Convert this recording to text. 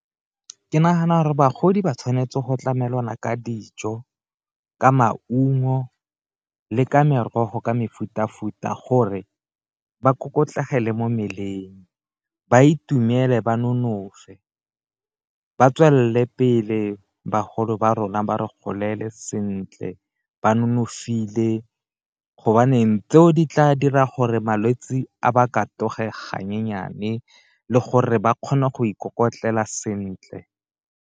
Ke nagana gore bagodi ba tshwanetse go tlamelana ka dijo, ka maungo le ka merogo ka mefuta-futa gore ba kokotlegele mo mmeleng, ba itumele, ba nonofe, ba tswelele pele bagolo ba rona ba re golele sentle ba nonofile gobaneng tseo di tla dira gore malwetse a ba ka taboge ga nyenyane le gore ba kgone go ikokotlela sentle.